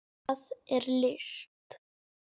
Hvað er list?